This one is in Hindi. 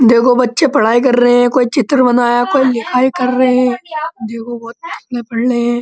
देखो बच्चे पढ़ाई कर रहे हैं। कोई चित्र बनाया कोई लिखाई कर रहे है। देखो बोहोत पढ़ रहें हैं।